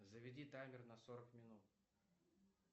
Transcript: заведи таймер на сорок минут